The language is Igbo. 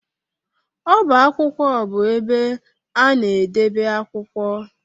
Ọbá akwụkwọ bụ ebe ana edebe akwụkwọ.